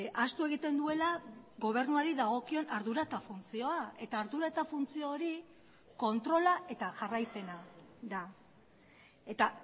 ahaztu egiten duela gobernuari dagokion ardura eta funtzioa eta ardura eta funtzio hori kontrola eta jarraipena da eta